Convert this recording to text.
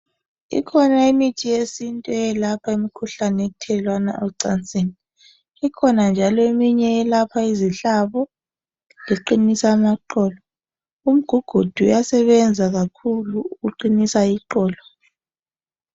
Ikhona imithi yesintu eyelapha imikhuhlane ethelelwana ocansini, ikhona njalo eminye eyelapha izihlabo leqinisa amaqolo umgugudu yasebenza kakhulu ukuqinisa iqolo.